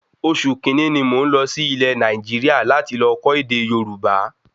Oṣù kínní ní mò n lọ sí Ilẹ̀ Nàìjíríà láti lọ kọ́ ède Yorùbá